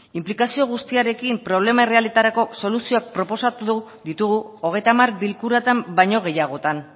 inplikazio guztiarekin problema errealetarako soluzioak proposatu ditugu hogeita hamar bilkuratan baino gehiagotan